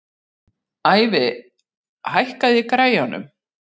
Ævi, hækkaðu í græjunum.